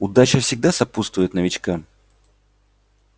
удача всегда сопутствует новичкам